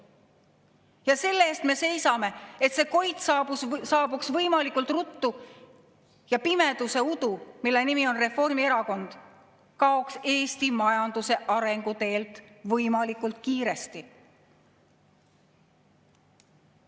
Ja selle eest me seisame, et see koit saabuks võimalikult ruttu, ja pimeduse udu, mille nimi on Reformierakond, kaoks Eesti majanduse arenguteelt võimalikult kiiresti.